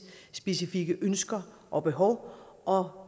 specifikke ønsker og behov og